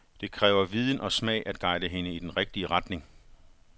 Det kræver viden og smag at guide hende i den rigtige retning.